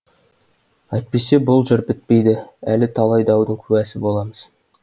әйтпесе бұл жыр бітпейді әлі талай даудың куәсі боламыз